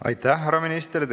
Aitäh, härra minister!